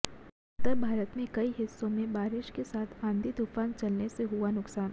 उत्तर भारत के कई हिस्सों में बारिश के साथ आंधी तूफान चलने से हुआ नुकसान